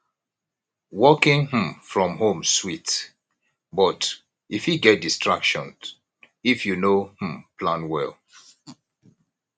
working um from home sweet but e fit get distraction if you no um plan well